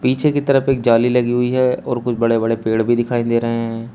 पीछे की तरफ एक जाली लगी हुई है और कुछ बड़े बड़े पेड़ भी दिखाई दे रहे हैं।